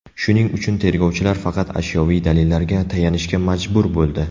Shuning uchun tergovchilar faqat ashyoviy dalillarga tayanishga majbur bo‘ldi.